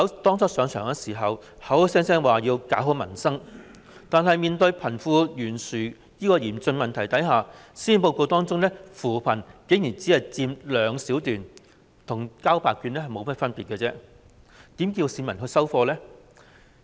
當初上任時，特首口口聲聲說要搞好民生，但面對貧富懸殊這個嚴峻問題時，施政報告中有關扶貧的內容卻竟然只佔兩小段，這與交白卷無異，市民又怎會接受呢？